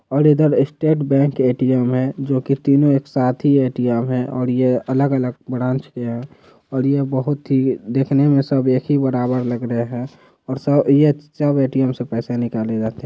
और इधर state bank ATM हैं जो कि तीनों एक साथ ही एटीएम हैं और ये अलग अलग ब्रांच में हैं और ये बहुत ही देखने में सब एक ही बराबर लग रहे हैं और सब ये सब एटीएम से पैसे निकले जाते--